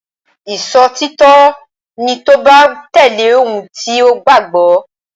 Ìṣòtítọ́ ni tí o bá tẹ̀lé ohun tí o gbàgbọ́.